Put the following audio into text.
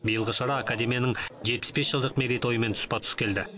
биылғы шара академияның жетпіс бес жылдық мерейтойымен тұспа тұс келді